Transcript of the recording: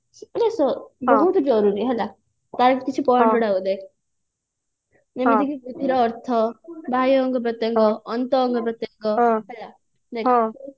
ମାନେ ବହୁତ ଜରୁରୀ ହେଲା ତାର କିଛି ନଥାଏ ଯେମିତି କି ବୃଦ୍ଧି ର ଅର୍ଥ ବାହ୍ୟ ଅଙ୍ଗ ପ୍ରତ୍ୟଙ୍ଗ ଅନ୍ତ ଅଙ୍ଗ ପ୍ରତ୍ୟଙ୍ଗ ହେଲା